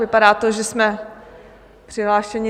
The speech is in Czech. Vypadá to, že jsme přihlášeni.